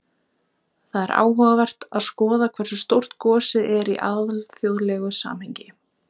Það er áhugavert að skoða hversu stórt gosið er í alþjóðlegu samhengi.